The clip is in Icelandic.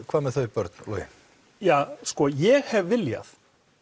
hvað með þau börn Logi ja sko ég hef viljað